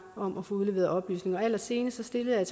om at få udleveret oplysninger og allersenest stillede jeg